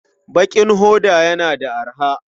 Bakin hoda yana da arha.